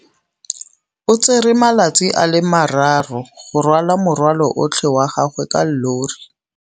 O tsere malatsi a le marraro go rwala morwalo otlhe wa gagwe ka llori.